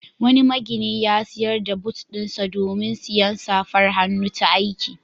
Wani magini ya sayar da but ɗinsa domin sayen safar hannu ta aiki.